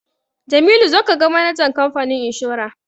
Jamilu zo ka ga manajan kamfanin inshora!